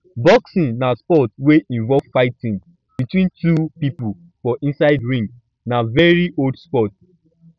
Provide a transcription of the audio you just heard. boxing na sport wey involve fighting between two pipo for inside ring na very old sport